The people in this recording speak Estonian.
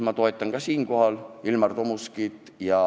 Ma toetan ka selles osas Ilmar Tomuskit.